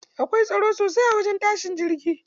Akwai tsaro sosai a wajen tashin jirgi.